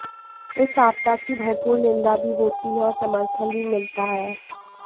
इस आपदा की भरपूर निंदा भी होती है और समर्थन भी मिलता है